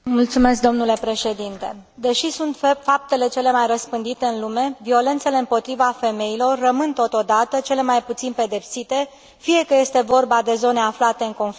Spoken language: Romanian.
Deși sunt faptele cele mai răspândite în lume, violențele împotriva femeilor rămân, totodată, cele mai puțin pedepsite, fie că este vorba de zone aflate în conflict, fie de țări democrate.